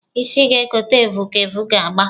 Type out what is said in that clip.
Isi ga-ekote evu ka evu ga-agba!